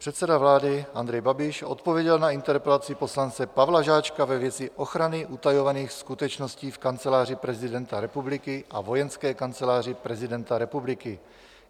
Předseda vlády Andrej Babiš odpověděl na interpelaci poslance Pavla Žáčka ve věci ochrany utajovaných skutečností v Kanceláři prezidenta republiky a Vojenské kanceláři prezidenta republiky.